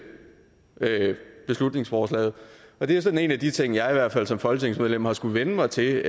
beslutningsforslaget det er sådan en af de ting jeg i hvert fald som folketingsmedlem har skullet vænne mig til